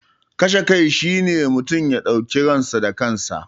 Kashe kai shi ne mutum ya dauki ransa da kansa.